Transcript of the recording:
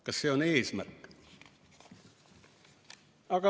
Kas see on eesmärk?